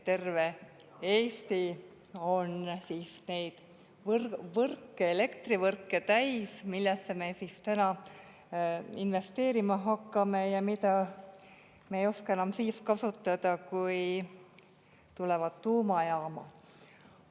Terve Eesti on siis neid võrke, elektrivõrke täis, millesse me siis täna investeerima hakkame ja mida me ei oska siis enam kasutada, kui tulevad tuumajaamad.